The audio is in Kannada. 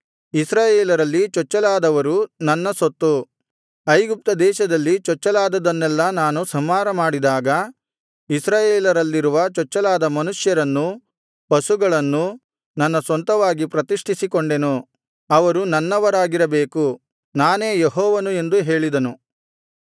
ಇಸ್ರಾಯೇಲರಲ್ಲಿ ಚೊಚ್ಚಲಾದವರು ನನ್ನ ಸೊತ್ತು ಐಗುಪ್ತ ದೇಶದಲ್ಲಿದ್ದ ಚೊಚ್ಚಲಾದದ್ದನ್ನೆಲ್ಲಾ ನಾನು ಸಂಹಾರಮಾಡಿದಾಗ ಇಸ್ರಾಯೇಲರಲ್ಲಿರುವ ಚೊಚ್ಚಲಾದ ಮನುಷ್ಯರನ್ನೂ ಪಶುಗಳನ್ನೂ ನನ್ನ ಸ್ವಂತವಾಗಿ ಪ್ರತಿಷ್ಠಿಸಿಕೊಂಡೆನು ಅವರು ನನ್ನವರಾಗಿರಬೇಕು ನಾನೇ ಯೆಹೋವನು ಎಂದು ಹೇಳಿದನು